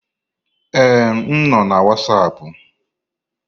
Ee, m nọ na Wasapu.